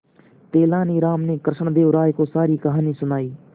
तेलानी राम ने कृष्णदेव राय को सारी कहानी सुनाई